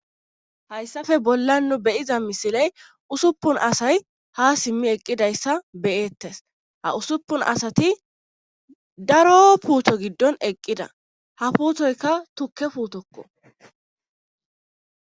Hayssafe bollan nu be'iza misiley usuppun asay ha simmi eqqidayssa be'eettes ha usuppun asati daro puuto giddon eqqida ha puuthoyka tukke putokko